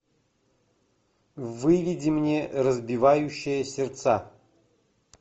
выведи мне разбивающие сердца